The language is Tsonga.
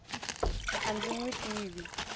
a ndzi n wi tivi